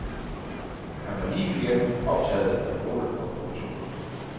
Han var livet igennem optaget af mål og proportioner.